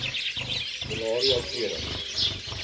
malaria tering